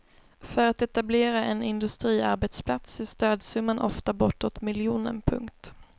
För att etablera en industriarbetsplats är stödsumman ofta bortåt miljonen. punkt